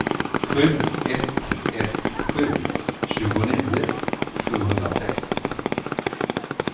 sju ett ett sju tjugonio sjuhundrasextio